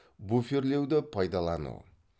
буферлеуді пайдалану